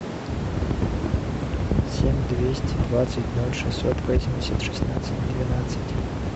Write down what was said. семь двести двадцать ноль шестьсот восемьдесят шестнадцать двенадцать